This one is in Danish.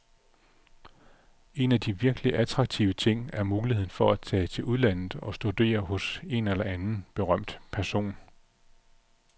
En af de virkelig attraktive ting er muligheden for at tage til udlandet og studere hos en eller anden berømt person.